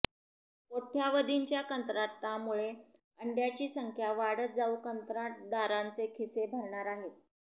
कोट्यावधींच्या कंत्राटामुळे अंड्याची संख्या वाढत जाऊ कंत्राटदारांचे खिसे भरणार आहेत